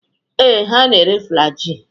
Ee, ha na-ere Flaji.